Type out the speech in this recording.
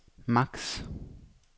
maks